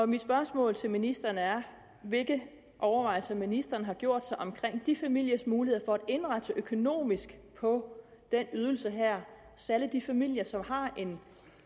mit spørgsmål til ministeren er hvilke overvejelser ministeren har gjort sig omkring de familiers muligheder for at indrette sig økonomisk på den ydelse her særlig de familier som